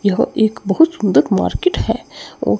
यह एक बहुत सुंदर मार्केट है अ--